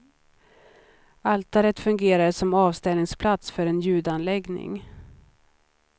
Altaret fungerade som avställningsplats för en ljudanläggning.